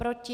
Proti?